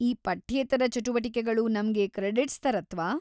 ಈ ಪಠ್ಯೇತರ ಚಟುವಟಿಕೆಗಳು ನಮ್ಗೆ ಕ್ರೆಡಿಟ್ಸ್‌ ತರತ್ವಾ?